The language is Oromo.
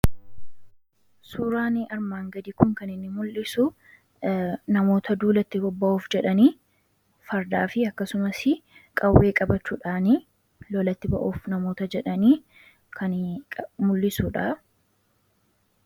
Suuraan armaan gadii kun kan inni mul'isu namoota duulatti bobba'uuf jedhanii, fardaaf akkasumas qawwee qabachuudhaan lolatti ba'uuf namoota jedhanii kan mul'isudha.